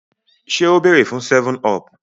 ṣe o beere fun 7up?